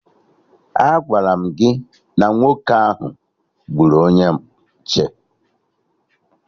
Agwara m gị na nwoke ahụ gburu onye nche